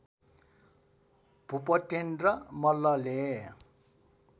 भूपतिन्द्र मल्लले